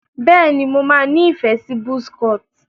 bẹ ní mọ má ní ìfẹ sí buzz cut.